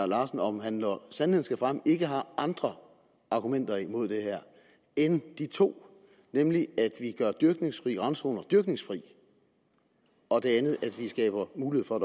larsen om han når sandheden skal frem ikke har andre argumenter imod det her end de to nemlig at vi gør dyrkningsfri randzoner dyrkningsfri og at vi skaber mulighed for at